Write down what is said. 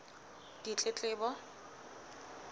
ditletlebo